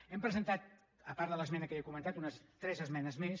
hem presentat a part de l’esmena que ja he comentat tres esmenes més